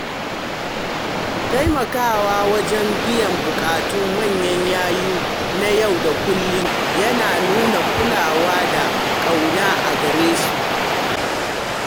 Taimakawa wajen biyan bukatun manyan yayu na yau da kullum yana nuna kulawa da kauna a gare su.